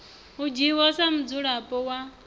u dzhiwa sa mudzulapo wa